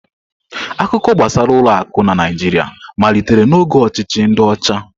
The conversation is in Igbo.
Akụkọ gbasara ụlọ akụ na Naịjirịa malitere n'oge ọchịchị ndi ocha.